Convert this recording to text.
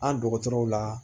An dɔgɔtɔrɔw la